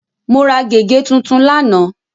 Mo ra gègé tuntun lánàá.